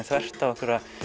þvert á einhverjar